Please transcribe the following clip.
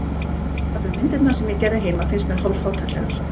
Jafnvel myndirnar sem ég gerði heima finnst mér hálf-fátæklegar.